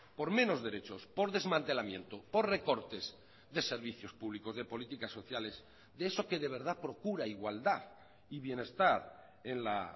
por menos derechos por desmantelamiento por recortes de servicios públicos de políticas sociales de eso que de verdad procura igualdad y bienestar en la